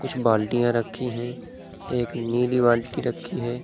कुछ बाल्टियाँ रखी हैं एक नीली बाल्टी रखी है।